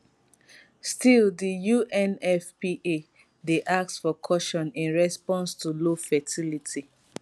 still di unfpa dey ask for caution in response to low fertility